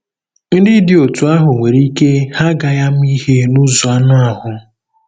Ndị dị otú ahụ nwere ike ha agaghị ama ihe nụzọ anụ ahụ́.